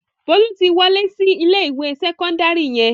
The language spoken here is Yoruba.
Bólú ti wọlé sí ilé-ìwé sẹ́kọ́ndárì yẹn.